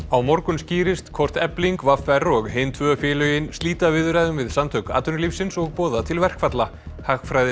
á morgun skýrist hvort Efling v r og hin tvö félögin slíta viðræðum við Samtök atvinnulífsins og boða til verkfalla